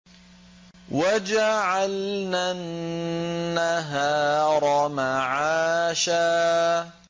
وَجَعَلْنَا النَّهَارَ مَعَاشًا